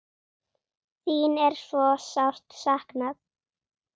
Þín er svo sárt saknað.